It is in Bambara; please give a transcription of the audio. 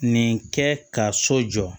Nin kɛ ka so jɔ